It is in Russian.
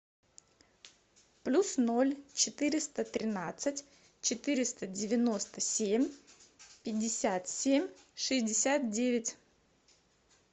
плюс ноль четыреста тринадцать четыреста девяносто семь пятьдесят семь шестьдесят девять